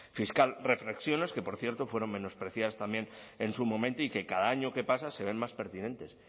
fiscal reflexiones que por cierto fueron menospreciadas también en su momento y que cada año que pasa se ven más pertinentes